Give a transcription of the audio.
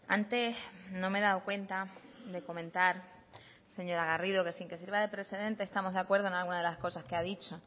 antes no me he dado cuenta de comentar señora garrido que sin que sirva de precedente estamos de acuerdo en alguna de las cosas que ha dicho